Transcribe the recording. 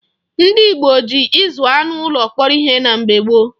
Ndị Igbo ji ịzụ anụ ụlọ kpọrọ ihe na mgbe gboo.